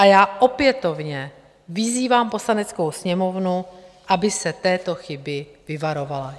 A já opětovně vyzývám Poslaneckou sněmovnu, aby se této chyby vyvarovala.